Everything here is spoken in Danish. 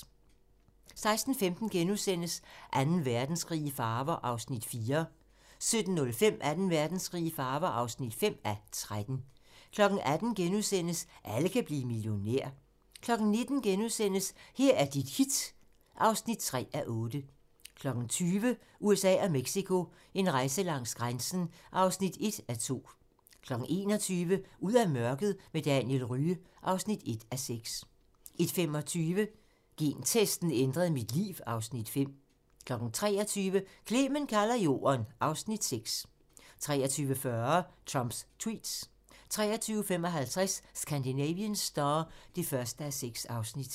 16:15: Anden Verdenskrig i farver (4:13)* 17:05: Anden Verdenskrig i farver (5:13) 18:00: Alle kan blive millionær * 19:00: Her er dit hit (3:8)*(tir) 20:00: USA og Mexico: En rejse langs grænsen (1:2) 21:00: Ud af mørket med Daniel Rye (1:6) 21:45: Gentesten ændrede mit liv (Afs. 5) 23:00: Clement kalder jorden (Afs. 6) 23:40: Trumps tweets 23:55: Scandinavian Star (1:6)